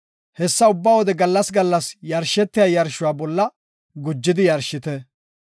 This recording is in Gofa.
Hessa ubba wode gallas gallas yarshetiya yarshuwa bolla gujidi yarshite.